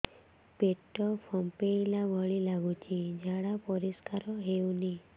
ପେଟ ଫମ୍ପେଇଲା ଭଳି ଲାଗୁଛି ଝାଡା ପରିସ୍କାର ହେଉନି